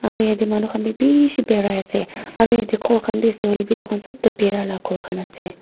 aru yatey manu khan wi bishi birai ase aro yatey ghor khan bi ase hoilebi itukhan sob toh bhera la ghor khan ase.